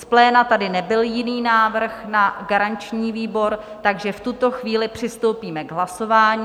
Z pléna tady nebyl jiný návrh na garanční výbor, takže v tuto chvíli přistoupíme k hlasování.